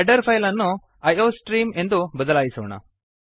header file ಅನ್ನು iostreamಐ O stream ಎಂದು ಬದಲಾಯಿಸೋಣ